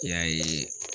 I y'a ye